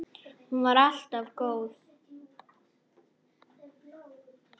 Hún var alltaf góð.